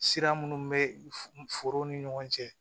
Sira minnu bɛ foro ni ɲɔgɔn cɛ